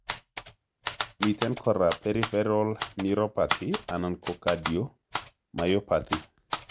Miten kora peripheral neuropathy anan kocardiomyopathy